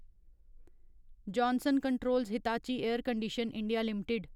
Johnson Controls Hitachi air condition. India limited